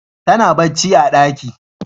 Tana bacci a daki.